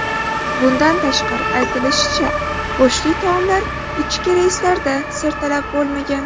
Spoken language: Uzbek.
Bundan tashqari, aytilishicha, go‘shtli taomlar ichki reyslarda sertalab bo‘lmagan.